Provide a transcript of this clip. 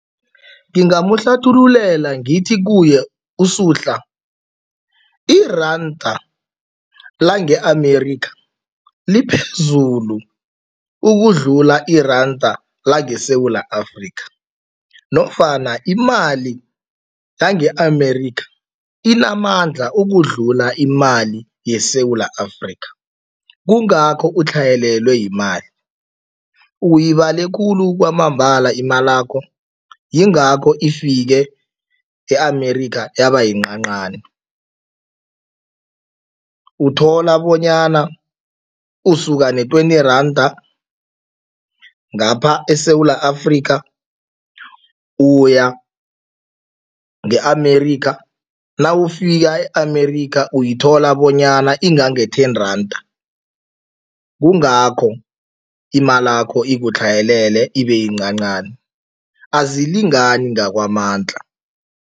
Ngingamuhlathululela ngithi kuye uSuhla, iranda lange-America liphezulu ukudlula iranda langeSewula Afrika nofana imali yange-America inamandla ukudlula imali yeSewula Afrika, kungakho utlhayelelwe yimali. Uyibale khulu kwamambala imalakho yingakho ifike e-America yabayincancani. Uthola bonyana usuka ne-twenty randa ngapha eSewula Afrika uya nge-America, nawufika e-America uyithola bonyana ingange-ten randa, kungakho imalakho ikutlhayelele, ibeyincancani, azilingani ngakwamandla.